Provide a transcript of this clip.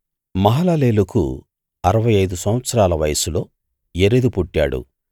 మహలలేలుకు అరవై ఐదు సంవత్సరాల వయస్సులో యెరెదు పుట్టాడు